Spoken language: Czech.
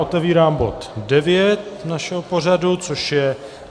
Otevírám bod 9 našeho pořadu, kterým je